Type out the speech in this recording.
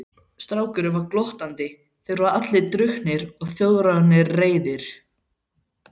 Strákurinn var glottandi, þeir voru allir drukknir og Þjóðverjarnir reiðir.